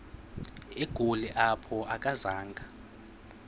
egoli apho akazanga